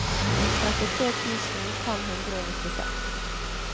trettitre tusen fem hundre og nittiseks